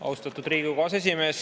Austatud Riigikogu aseesimees!